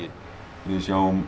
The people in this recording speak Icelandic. við sjáum